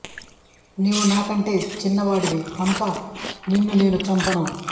నీవు నాకంటే చిన్న వాడివి కనుక నిన్ను నేను చంపను